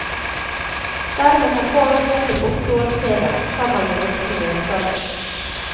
Dermed kan barn ned til åtte år se den, sammen med voksen ledsager.